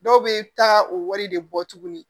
Dɔw bɛ taa o wari de bɔ tuguni